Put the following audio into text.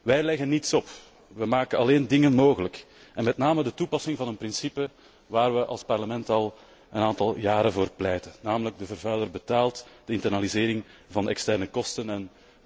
Wij leggen niets op. We maken alleen dingen mogelijk en met name de toepassing van een principe waar we als Parlement al een aantal jaren voor pleiten, namelijk 'de vervuiler betaalt', de internalisering van de externe kosten.